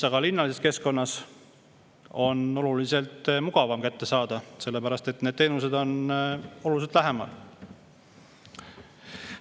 Linnalises keskkonnas on oluliselt mugavam, sellepärast et teenused on oluliselt lähemal.